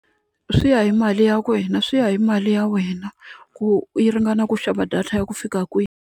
Swi ya hi mali ya wena swi ya hi mali ya wena ku yi ringana ku xava data ya ku fika kwini.